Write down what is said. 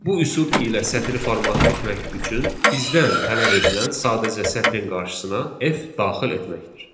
Bu üsul ilə sətri format etmək üçün bizdən tələb edilən sadəcə sətrin qarşısına F daxil etməkdir.